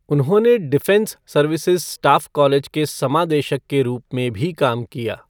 उन्होंने defence services staff college के समादेशक के रूप में भी काम किया।